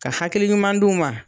Ka hakil ɲuman d'u ma.